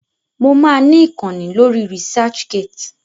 Mo máa ni ìkànnì lórí Researchgate.